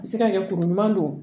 I bɛ se ka kɛ kuru ɲuman don